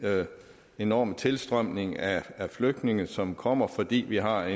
enorme tilstrømning af flygtninge som kommer fordi vi har